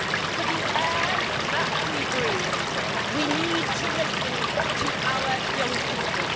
For the air that we breathe, we need to listen to our young people.